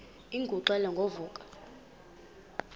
ingxelo ngo vuko